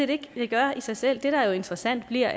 det gør i sig selv men det der er interessant er